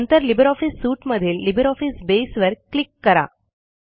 नंतर LibreOffice suite मधील LibreOffice Base वर क्लिक करा